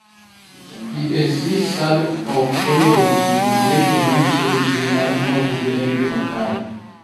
"EAC, SADC ok onego ochiw weche manyiso ni tim mar mahundu en gima kare.